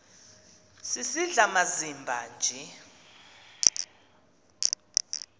sisidl amazimba nje